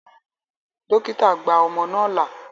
Dókítà gba ọmọ náà là.